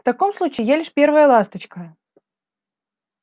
в таком случае я лишь первая ласточка